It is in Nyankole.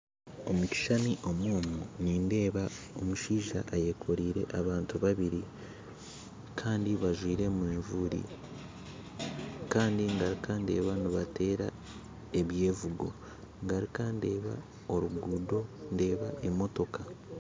Omu kishuushani omu omu nindeeba omushaija ayekoreire abantu babiiri kandi bajwire mavuuri kandi garuka ndeeba nibateera ebyevugo garuka ndeeba orugundo, ndeeba emotooka